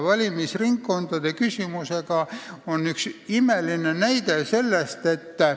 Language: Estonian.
Valimisringkondade küsimus on üks selline näide.